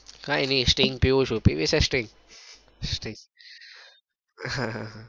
કઈ નાઈ string પીવું છું પીવી છે string string આહ હા